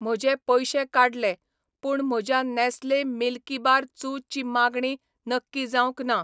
म्हजे पयशे काडले, पूण म्हज्या नॅस्ले मिल्कीबार चू ची मागणी नक्की जावंक ना